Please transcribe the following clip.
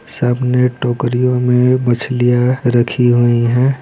सामने टोकरियों में मछलियाँ रखी हुई है।